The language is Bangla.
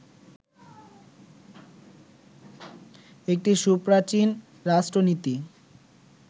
একটি সুপ্রাচীন রাষ্ট্রনীতি